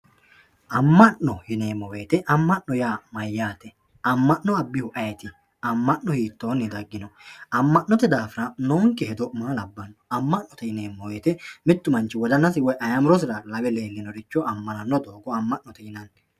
Amma'no yineemmo woyte amma'no yaa mayyaate amma'no abbihu ayeti amma'no hiitoonni daggino amma'note daafira noonke hedo maa labbanno amma'note yineemmo woyte mittu manchi ayimirosira woy wodanisira xawe leellinoricho amma'note yinanni